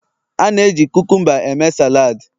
A na-eji kukumba eme salad